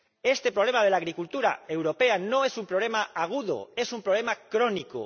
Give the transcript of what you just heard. Este problema de la agricultura europea no es un problema agudo, es un problema crónico.